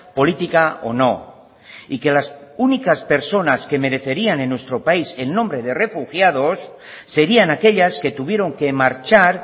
política o no y que las únicas personas que merecerían en nuestro país el nombre de refugiados serian aquellas que tuvieron que marchar